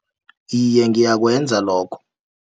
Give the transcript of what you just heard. Iye, ngiyakwenza lokho.